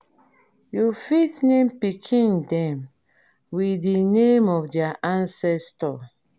you fit name pikin dem with di name of their ancestor